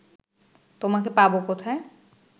তোমাকে পাব কোথায়